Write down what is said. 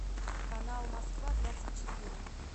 канал москва двадцать четыре